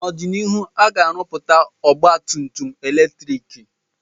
N'ọdịnihu, ha ga-arụpụta ọgba tum tum eletriki